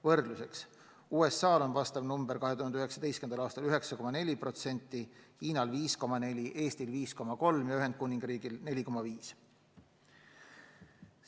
Võrdluseks, USA-l oli vastav näitaja 2019. aastal 9,4%, Hiinal 5,4%, Eestil 5,3% ja Ühendkuningriigil 4,5%.